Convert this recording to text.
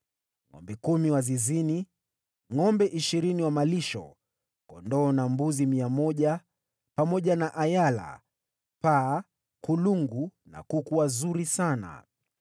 Ngʼombe kumi wa zizini, ngʼombe ishirini wa malisho, kondoo na mbuzi mia moja, pamoja na ayala, paa, kulungu na kuku wazuri sana.